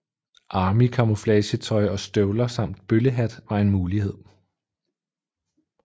Army camouflage tøj og støvler samt bøllehat var en mulighed